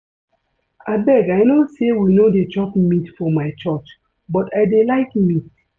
Abeg I no say we no dey chop meat for my church but I dey like meat